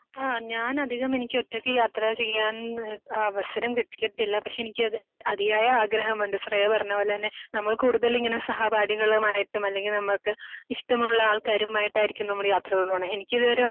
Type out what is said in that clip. ആഹ് ഞാൻ അധികമെനിക്ക് ഒറ്റക്ക് യാത്ര ചെയ്യാൻ ആഹ് അവസരം ലഭിച്ചിട്ടില്ല. പക്ഷെ എനിക്ക് അത് അധിയായ ആഗ്രഹമുണ്ട്. ശ്രേയ പറഞ്ഞത് പോലെ തന്നെ നമ്മൾ കൂടുതൽ ഇങ്ങനെ സഹപാഠികളുമായിട്ടും അല്ലെങ്കിൽ നമുക്ക് ഇഷ്ടമുള്ള ആൾക്കാരുമായിട്ടായിരിക്കും നമ്മൾ യാത്രകൾ പോണേ എനിക്ക് ഇത് വരെ